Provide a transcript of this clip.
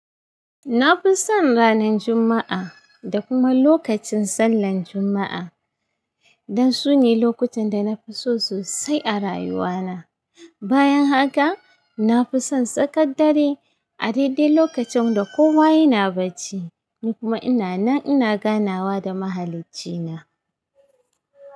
Na fi son ranar Juma’a da kuma lokacin sallan Juma’a dan sune lokutan da na fi so sosai a rayuwana. Bayan haka, na fi son tsakar dare a daidai lokacin da kowa yana bacci kuma ina nan ina ganawa da Mahaliccina.